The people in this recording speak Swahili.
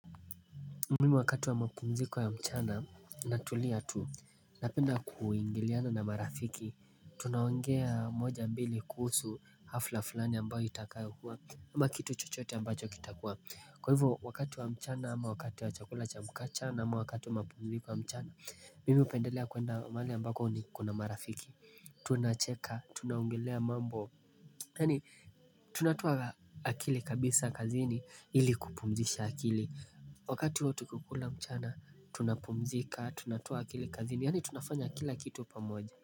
Mimi wakatu wa mapumziko ya mchana na tulia tu Napenda kuingiliana na marafiki Tunaongea moja mbili kuhusu hafla fulani ambayo itakai huwa ama kitu chochote ambacho kitakuwa Kwa hivyo wakati wa mchana ama wakati wa chakula chamukachana ama wakati wa mapumziko wa mchana Mihupendelea kuenda mali ambayo ni kuna marafiki Tunacheka, tunaongelea mambo yani tunatoa akili kabisa kaziini ili kupumzisha akili Wakati watu kukula mchana tunapumzika tunatoa akilikazini yani tunafanya kila kitu pamoja.